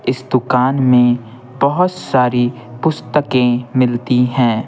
इस दुकान में बहुत सारी पुस्तकें मिलती हैं।